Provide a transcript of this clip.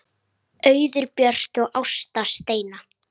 Auður Björt og Ásta Steina.